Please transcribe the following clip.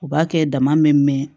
U b'a kɛ dama mɛ